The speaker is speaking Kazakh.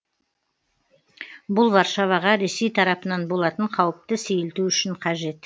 бұл варшаваға ресей тарапынан болатын қауіпті сейілту үшін қажет